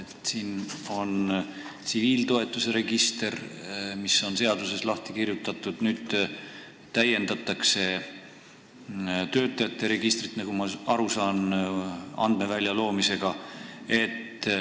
Tsiviiltoetuse register on seaduses lahti kirjutatud, nüüd täiendatakse töötamise registrit, nagu ma aru saan, andmevälja loomisega.